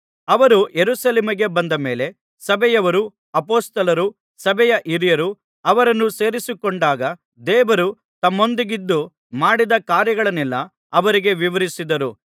ಅವರು ಯೆರೂಸಲೇಮಿಗೆ ಬಂದ ಮೇಲೆ ಸಭೆಯವರೂ ಅಪೊಸ್ತಲರೂ ಸಭೆಯ ಹಿರಿಯರೂ ಅವರನ್ನು ಸೇರಿಸಿಕೊಂಡಾಗ ದೇವರು ತಮ್ಮೊಂದಿಗಿದ್ದು ಮಾಡಿದ ಕಾರ್ಯಗಳನ್ನೆಲ್ಲಾ ಅವರಿಗೆ ವಿವರಿಸಿದರು